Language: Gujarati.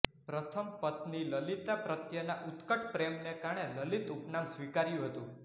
પ્રથમ પત્ની લલિતા પ્રત્યેના ઉત્કટ પ્રેમને કારણે લલિત ઉપનામ સ્વીકાર્યું હતું